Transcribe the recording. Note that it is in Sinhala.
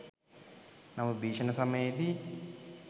නමුත් භීෂණ සමයේදී